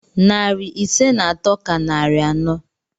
Narị ise na atọ ka narị anọ.